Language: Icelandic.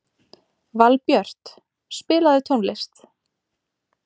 Valbjört, spilaðu tónlist.